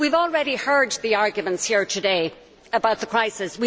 We have already heard the arguments here today about the crisis.